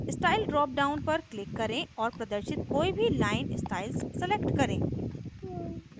style drop down पर click करें और प्रदर्शित कोई भी line styles select करें